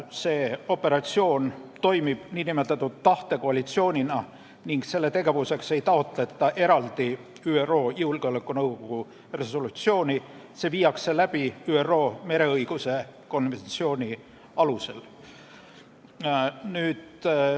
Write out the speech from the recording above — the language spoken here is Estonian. See operatsioon toimib nn tahtekoalitsioonina ning selle tegevuseks ei taotleta eraldi ÜRO Julgeolekunõukogu resolutsiooni, see viiakse läbi ÜRO mereõiguse konventsiooni alusel.